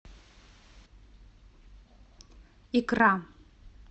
икра